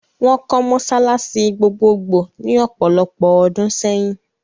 Wọ́n kọ́ mọ́sálásí gbogbogbò ní ọ̀pọ̀lopọ̀ ọdún sẹ́yìn.